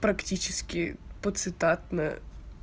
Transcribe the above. практически по цитатная